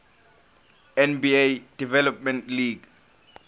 nba development league